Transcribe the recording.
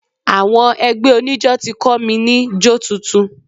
Àwọn ẹgbẹ́ oníjọ́ ti kọ́ mi ní jó tuntun.